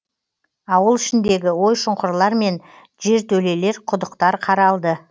ауыл ішіндегі ой шұңқырлар мен жертөлелер құдықтар қаралды